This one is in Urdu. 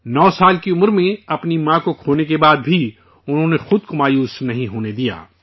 9 سال کی عمر میں اپنی ماں کو کھونے کے بعد بھی انہوں نے خود کو مایوس نہیں ہونے دیا